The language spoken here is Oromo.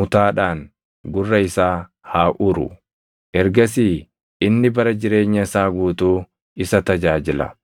mutaadhaan gurra isaa haa uru. Ergasii inni bara jireenya isaa guutuu isa tajaajila.